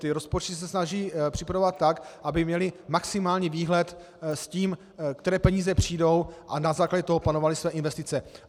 Ty rozpočty se snaží připravovat tak, aby měly maximální výhled s tím, které peníze přijdou, a na základě toho plánovaly své investice.